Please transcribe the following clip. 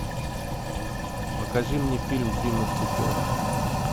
покажи мне фильм три мушкетера